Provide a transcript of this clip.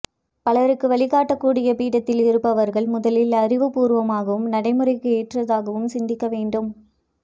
பலருக்கு வழிக் காட்டக் கூடிய பீடத்தில் இருப்பவர்கள் முதலில் அறிவு பூர்வமாகவும் நடைமுறைக்கு ஏற்றதாகவும் சிந்திக்க வேண்டும்